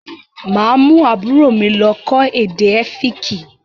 Mà á mú àbúrò mi lọ́ kọ́ èdè Ẹ́fíìkì.